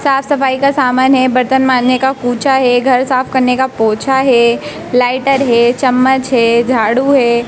साफ सफाई का सामान है बरतन माजने का कुंचा है घर साफ करने का पोछा है लाइटर है चम्मच है झाड़ू है।